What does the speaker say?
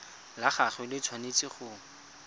la gagwe le tshwanetse go